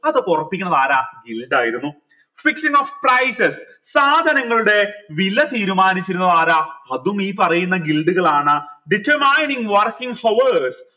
അതൊക്കെ ഒറപ്പിക്കണതാര ആയിരുന്നു of prices സാധനങ്ങളുടെ വില തീരുമാനിച്ചിരുന്നതാരാ അതും ഈ പറയുന്ന കളാണ് determining working hours